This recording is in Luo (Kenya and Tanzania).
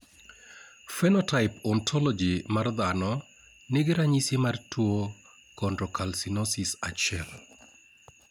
Phenotype Ontology mar dhano nigi ranyisi mar tuo Chondrocalcinosis 1